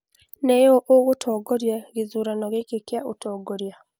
Nĩ ũ ũgũtooria gĩthurano gĩkĩ kĩa ũtongoria